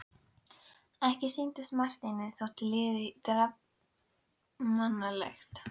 Ekki sýndist Marteini þó liðið djarfmannlegt.